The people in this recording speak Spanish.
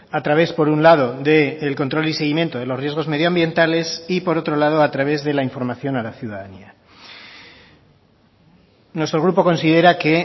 a través por un lado del control y seguimiento de los riesgos medioambientales y por otro lado a través de la información a la ciudadanía nuestro grupo considera que